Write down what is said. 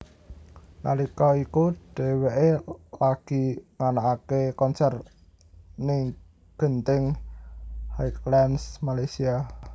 Nalika iku dheweké lagi nganakaké konser ning Genting Highlands Malaysia